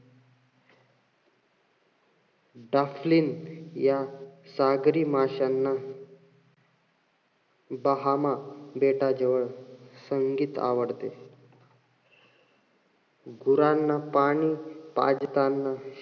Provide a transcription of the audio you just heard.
डाफलीन या सागरी माश्यांना बाहामा बेटाजवळ संगीत आवडते. गुरांना पाणी पाजतांना,